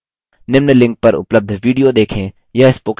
निम्न link पर उपलब्ध video देखें